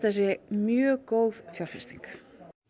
sé mjög góð fjárfesting